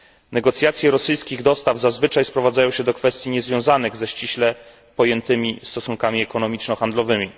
Negocjacje rosyjskich dostaw zazwyczaj sprowadzają się do kwestii niezwiązanych ze ściśle pojętymi stosunkami ekonomiczno handlowymi.